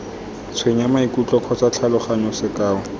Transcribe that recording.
tshwenya maikutlo kgotsa tlhaloganyo sekao